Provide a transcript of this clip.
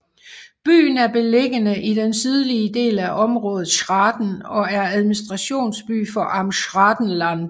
Byen er beliggende i den sydlige del af området Schraden og er administrationsby for Amt Schradenland